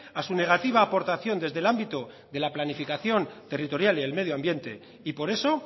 a su negativa aportación desde el ámbito de la planificación territorial y el medio ambiente y por eso